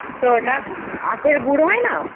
তো ওটা আখের গুড় হয়না?